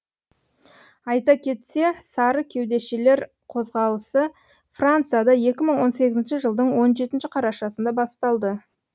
айта кетсе сары кеудешелер қозғалысы францияда екі мың он сегізінші жылдың он жетінші қарашасында басталды